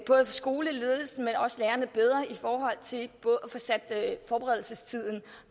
både skoleledelsen men også lærerne bedre i forhold til at få sat forberedelsestiden